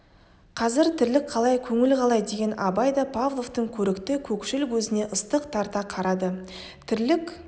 қазір тірлік қалай көңіл қалай деген абай да павловтың көрікті көкшіл көзіне ыстық тарта қарады тірлік